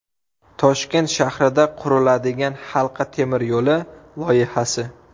Toshkent shahrida quriladigan halqa temir yo‘li loyihasi.